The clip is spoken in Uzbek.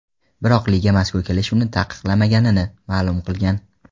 Biroq liga mazkur kelishuvni taqiqlamaganini ma’lum qilgan.